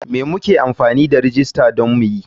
Me muke amfani da rajista don me?